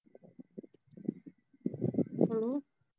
hello